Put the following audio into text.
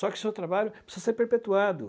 Só que seu trabalho precisa ser perpetuado.